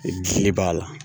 Gili b'a la.